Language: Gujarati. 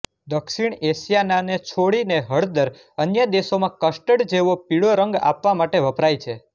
દક્ષીણ એશિયાના ને છોડીને હળદર અન્ય દેશોમાં કસ્ટર્ડ જેવો પીળો રંગ આપવા માટે વપરાય છે